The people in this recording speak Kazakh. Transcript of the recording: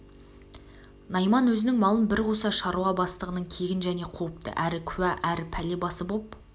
найман өзінің малын бір қуса шаруа бастығының кегін және қуыпты әрі куә әрі пәле басы боп